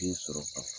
Den sɔrɔ ka f